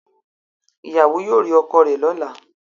Ìyàwó yóò rí ọkọ rẹ̀ lọ́la